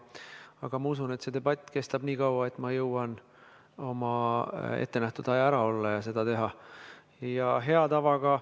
Aga ma usun, et see debatt kestab siin nii kaua, et ma jõuan oma ettenähtud aja ära olla ja siis.